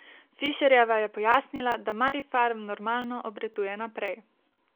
Fišerjeva je pojasnila, da Marifarm normalno obratuje naprej.